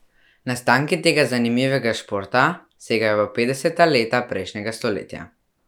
Nastanki tega zanimivega športa segajo v petdeseta leta prejšnjega stoletja.